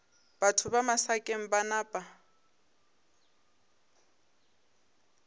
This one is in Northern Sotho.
batho ba masakeng ba napa